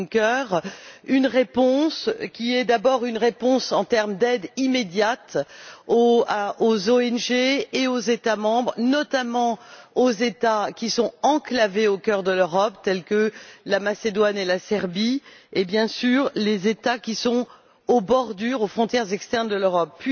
Juncker, une réponse qui est d'abord une réponse en termes d'aide immédiate aux ONG et aux États membres, notamment aux États qui sont enclavés au cœur de l'Europe, tels que la Macédoine et la Serbie, et, bien sûr, aux États qui sont aux frontières extérieures de l'Europe.